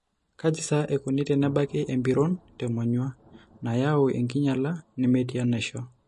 Kaji sa eikoni tenebaki empiron temonyua nayau enkinyiala nemetii enaishio?